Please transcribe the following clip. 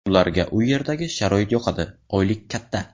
Ularga u yerdagi sharoit yoqadi, oylik katta.